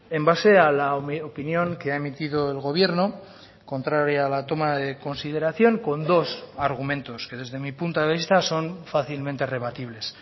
en base a la opinión que ha emitido el gobierno contraria a la toma de consideración con dos argumentos que desde mi punto de vista son fácilmente rebatibles